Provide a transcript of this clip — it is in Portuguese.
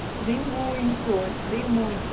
Estudei muito, estudei muito.